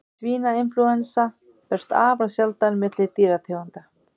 Svínainflúensa berst afar sjaldan milli dýrategunda.